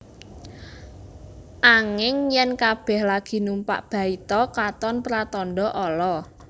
Anging yèn kabèh lagi numpak baita katon pratandha ala